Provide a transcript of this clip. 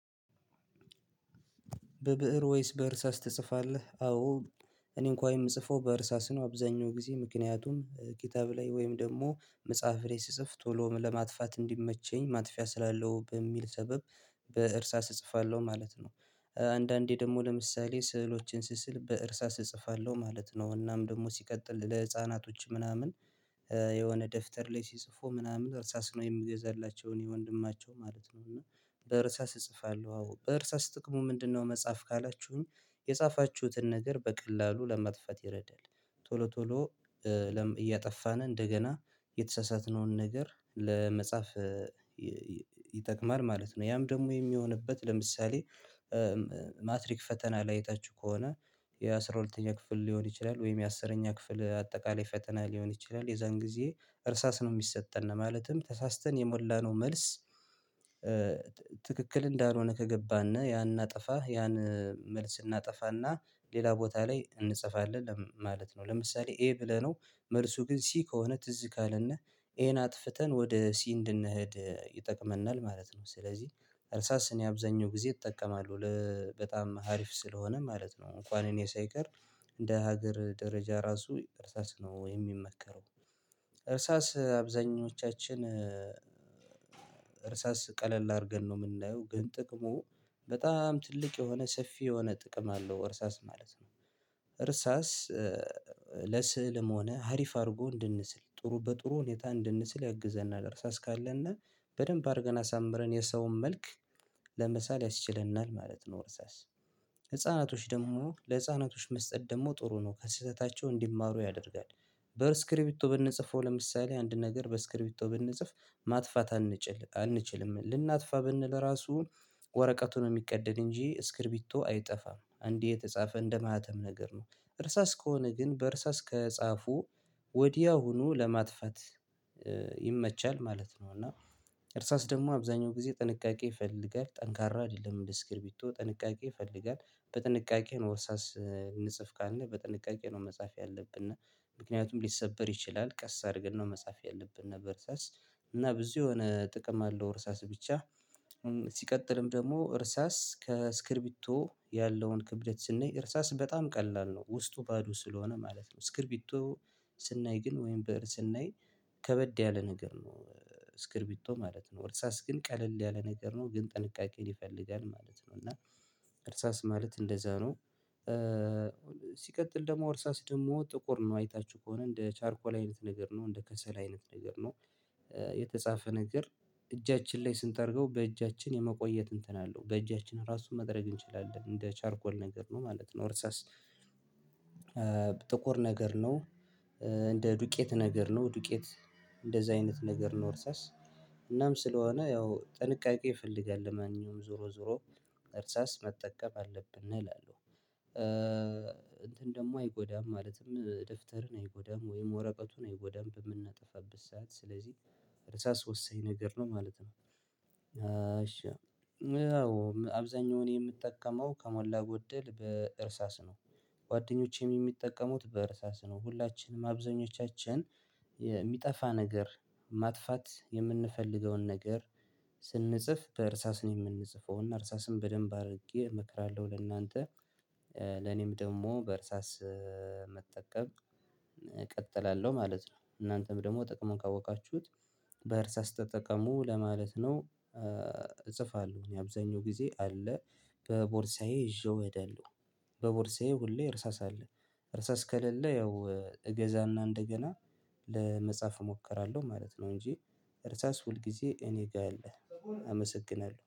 በብእር ወይስ በእርሳስ ትጽፋለህ? አዎ እኔን እንኳን የምጽፈው በእርሳስ ነው አብዛኛው ጊዜ ምክንያቱም ኬታብ ላይ ወይም ደግሞ መጽሐፍ ሬስ ስጽፍ ቶሎ ለማጥፋት እንዲመቸኝ ማጥፊያ ስላለው በሚል ሰበብ በእርሳስ እጽፋለሁ ማለት ነው። አንዳንዴ ደግሞ ለምሳሌ ስዕሎችን ስስል በእርሳስ እጽፋለሁ ማለት ነው እናም ደግሞ ሲቀጥል ለህፃናቶች ምናምን የሆነ ደፍተር ላይ ሲጽፉ ምናምን እርሳስ ነው የምገዛላቸው እኔ ወንድማቸው ማለት ነው። እና በእርሳስ እጽፋለሁ አዎ በእርሳስ ጥቅሙ ምንድነው መጽሐፍ ካላችሁኝ የጻፋችሁትን ነገር በቀላሉ ለመጥፋት ይረዳል ቶሎ ቶሎ እያጠፋን እንደገና የተሳሳትነውን ነገር ለመጻፍ ይጠቅማል ማለት ነው። ያም ደግሞ የሚሆንበት ለምሳሌ ማትሪክ ፈተና ላይ አይታች ከሆነ የአሥራ ሁለተኛ ክፍል ሊሆን ይችላል ወይም የአሥረኛ ክፍል አጠቃላይ ፈተና ሊሆን ይችላል የዛን ጊዜ እርሳስ ነው የሚሰጠን ማለትም ተሳስተን የሞላነው መልስ ትክክል እንዳልሆነ ከገባን ያን እናጠፋ ያን መልስ እናጠፋና ሌላ ቦታ ላይ እንጽፋለን ማለት ነው። ለምሳሌ ይሄ ብለነው መርሱ ግን ሲ ከሆነ ትዝ ካለና ኤን አጥፍተን ወደ ሲ እንድንሄድ ይጠቅመናል ማለት ነው። ስለዚህ እርሳስ እኔ አብዛኛው ጊዜ እጠቀማለሁ በጣም ሀሪፍ ስለሆነ ማለት ነው እንኳን እኔ ሳይቀር እንደ ሀገር ደረጃ ራሱ እርሳስ ነው የሚመከረው። እርሳስ አብዛኞቻችን እርሳስ ቀለል አድርገን ነው የምናየው ግን ጥቅሙ በጣም ትልቅ የሆነ ሰፊ የሆነ ጥቅም አለው እርሳስ ማለት ነው። እርሳስ ለስእልም ሆነ ሀሪፍ አድርጎ እንድንስል ጥሩ በጥሩ ሁኔታ እንድንስል እግዘና ደርሳ እስካለና በደንብ አድርገን አሳምረን የሰውን መልክ ለምሳሌ ያስችለናል ማለት ነው። ወርሳስ ህፃናቶች ደግሞ ለህፃናቶች መስጠት ደግሞ ጥሩ ነው ከስህተታቸው እንዲማሩ ያደርጋል በስክሪፕቶ ብንጽፈው ለምሳሌ አንድ ነገር በስክሪፕቶ ብንጽፍ ማጥፋት አንችል አንችልም ልናጥፋ ብንል ራሱ ወረቀቱን የሚቀደድ እንጂ ስክሪቢቶ አይጠፋም እንዲህ የተጻፈ እንደማህተም ነገር ነው። እርሳስ ከሆነ ግን በእርሳስ ከጻፉ ወዲያውኑ ለማጥፋት ይመቻል ማለት ነው። እና እርሳስ ደግሞ አብዛኛው ጊዜ ጥንቃቄ ይፈልጋል ጠንካራ አይደለም በስክርቢቶ ጥንቃቄ ይፈልጋል በጥንቃቄህ እንጽፍ ንጽፍ ካለ በጥንቃቄ ነው መጻፍ ያለብን እና ምክንያቱም ሊሰበር ይችላል ቀስ አድርገን ነው መጻፍ ያለብን እርሳስ እና ብዙ የሆነ ጥቅም አለው እርሳስ ብቻ ሲቀጥልም ደግሞ እርሳስ ከስክሪቢቶ ያለውን ክብደት ስናይ እርሳስ በጣም ቀላል ነው። ውስጡ ባዶ ስለሆነ ማለት ነው ስክሪቢቶ ስናይ ግን ወይም በእር ስናይ ከበድ ያለ ነገር ነው ስክሪቢቶ ማለት ነው። እርሳስ ግን ቀለል ያለ ነገር ነው ግን ጥንቃቄ ሊፈልጋል ማለት ነው። እና እርሳስ ማለት እንደዛ ነው ሲቀጥል ደግሞ እርሳስ ደግሞ ጥቁር ነው አይታችሁ ከሆነ እንደ ቻርኮላ አይነት ነገር ነው እንደ ከሰል አይነት ነገር ነው የተጻፈ ነገር እጃችን ላይ ስንተርገው በእጃችን የመቆየት እንትን አለው በእጃችን ራሱን መደረግ እንችላለን እንደ ቻርኮል ነገር ነው ማለት ነው። እርሳስ ጥቁር ነገር ነው እንደ ዱቄት ነገር ነው ዱቄት እንደዛ አይነት ነገር ነው ወርሳስ እናም ስለሆነ ያው ጥንቃቄ ይፈልጋል ማንኛውም ዞሮ ዞሮ እርሳስ መጠቀም አለብን እላለሁ እንትን ደግሞ አይጎዳም ማለትም ደፍተርን አይጎዳም ወይም ወረቀቱን አይጎዳም በምናጠፋበት ሰዓት ስለዚህ ርዕሰ አስወሰኝ ነገር ነው ማለት ነው። አሸው አብዛኛውን የምትጠቀመው ከሞላ ጎደል በእርሳስ ነው ጓደኞቼም የሚጠቀሙት በእርሳስ ነው ሁላችንም አብዛኞቻችን የሚጠፋ ነገር ማጥፋት የምንፈልገውን ነገር ስንጽፍ በእርሳስ ነው የምንጽፈው እና እርሳስም በደንብ አድርጌ እመክራለሁ ለእናንተ። ለኔም ደግሞ በእርሳስ መጠቀም እቀጥላለሁ ማለት ነው። እናንተም ደግሞ ጥቅሙን ካወቃችሁት በእርሳስ ተጠቅሞ ለማለት ነው እጽፋለሁ እኔ አብዛኛው ጊዜ አለ በቦርሳዬ ይዤው እሄዳልሁ በቦርሳዬ ሁሌ እርሳስ አለ እርሳስ ከሌለ ያው እገዛና እንደገና ለመጻፍ እሞክራለሁ ማለት ነው። እንጂ እርሳስ ሁል ጊዜ እኔ ጋር የለህም አመሰግናለሁ